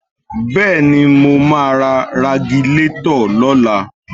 Bẹ́ẹ̀ni mo máa ra Ragilatọ̀ lọ́la